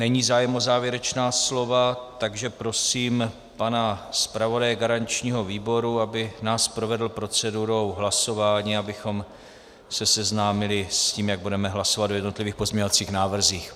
Není zájem o závěrečná slova, takže prosím pana zpravodaje garančního výboru, aby nás provedl procedurou hlasování, abychom se seznámili s tím, jak budeme hlasovat o jednotlivých pozměňovacích návrzích.